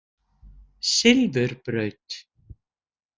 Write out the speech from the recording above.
Silfurbraut